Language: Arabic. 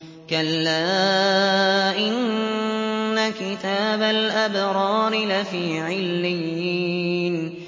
كَلَّا إِنَّ كِتَابَ الْأَبْرَارِ لَفِي عِلِّيِّينَ